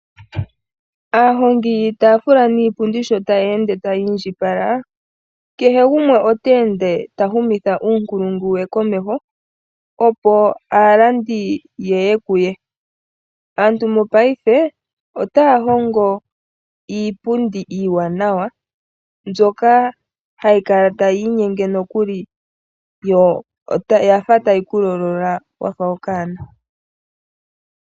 Aahongi yiitaafula niipundi sho taya ende taya indjipala, kehe gumwe ota ende ta humitha uunkulungu we komeho, opo aalandi yaye kuye. Aantu mopaife otaa hongo iipundi iiwanawa, mbyka hayi kala tayi inyenge nokuli yo oyafa tayi ku lolola, wafa okanona.